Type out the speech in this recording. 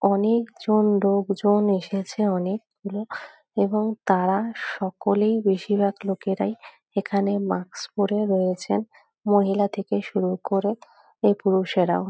অনেকজন লোকজন এসেছে অনেক-গুলো এবং তারা সকলেই বেশির ভাগ লোকেরাই এখানে মাস্ক পরে রয়েছেন মহিলা থেকে শুরু করে ও পুরুষেরাও।